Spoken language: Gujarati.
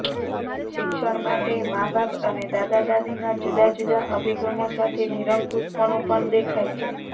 શિક્ષણ માટે માબાપ અને દાદા દાદીના જુદા જુદા અભિગમો સાથે નિરંકુશપણું પણ દેખાય છે